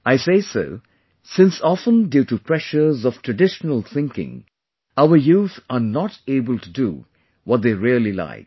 I say so since often due to pressures of traditional thinking our youth are not able to do what they really like